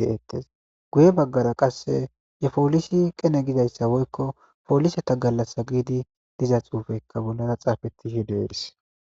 dess guye baggara qasse ye polisi qene giza woyko poliseta galasa giza xuufey bollara xafetidi desi.